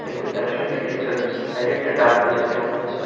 এগুনি তাদের সঙ্গে ডিসকাস করছে সাইডে একটা ডাস্টবিন ও আছে মনে হচ্ছে।